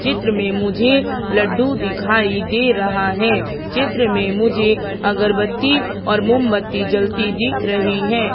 चित्र में मुझे लड्डू दिखाई दे रहा है चित्र में मुझे अगरबत्ती और मोमबत्ती जलती दिख रही है।